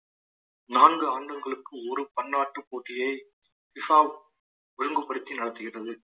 நான்கு ஆண்டுகளுக்கு ஒரு பன்னாட்டு போட்டியை விசாவ் ஒழுங்குபடுத்தி நடத்துகின்றது